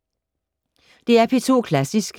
DR P2 Klassisk